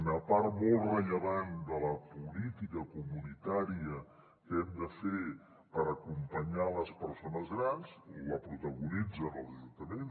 una part molt rellevant de la política comunitària que hem de fer per acompanyar les persones grans la protagonitzen els ajuntaments